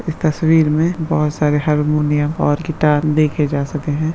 इस तस्वीर में बहुत सारे हारमोनियम और गिटार देखे जा सके हैं।